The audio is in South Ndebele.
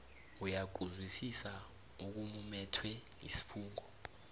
uyakuzwisisa okumumethwe sifungo